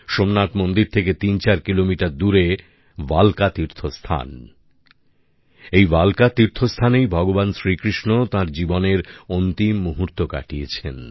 সোমনাথ মন্দির থেকে তিন চার কিলোমিটার দূরে ভালকা তীর্থ স্থান এই ভালকা তীর্থস্থানেই ভগবান শ্রীকৃষ্ণ তাঁর জীবনের অন্তিম মুহূর্ত কাটিয়েছেন